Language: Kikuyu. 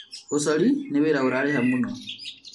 ũcori nĩ wĩra ũrarĩha mũno